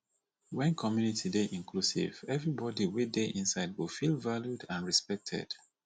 when community dey inclusive everybody wey de inside go feel valued and respected